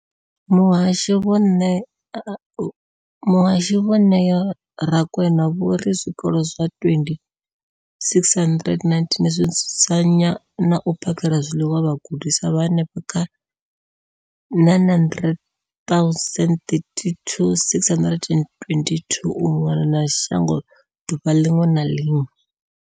Muhasho, Vho Neo Rakwena, vho ri zwikolo zwa 20 619 zwi dzudzanya na u phakhela zwiḽiwa vhagudiswa vha henefha kha 9 032 622 u mona na shango ḓuvha ḽiṅwe na ḽiṅwe.